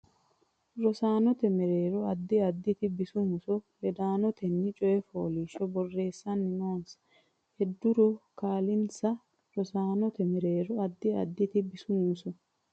Rosaanote mereero addi additi bisu muso ledaanotenni coy fooliishsho borreessanna noonsa heeduro kaa linsa Rosaanote mereero addi additi bisu muso.